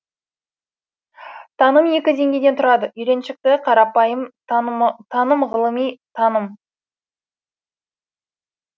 таным екі деңгейден тұрады үйреншікті қарапайым танымғылыми таным